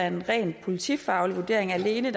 en ren politifaglig vurdering alene